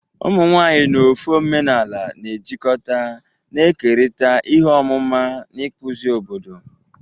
Ụmụ nwanyị n'ofe omenala na-ejikọta, na-ekerịta ihe ọmụma na ịkpụzi obodo.